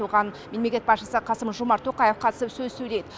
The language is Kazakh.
оған мемлекет басшысы қасым жомарт тоқаев қатысып сөз сөйлейді